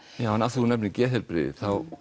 þú nefnir geðheilbrigði